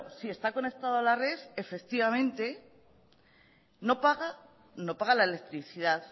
si está conectado a la red efectivamente no paga la electricidad